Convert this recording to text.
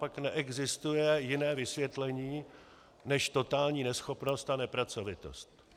Pak neexistuje jiné vysvětlení než totální neschopnost a nepracovitost.